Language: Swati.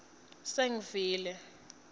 sengivile